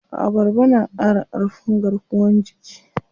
Abarba na ƙara ƙarfin garkuwan jiki.